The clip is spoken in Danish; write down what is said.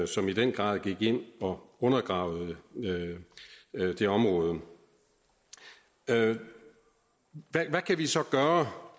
som i den grad gik ind og undergravede det område hvad kan vi så gøre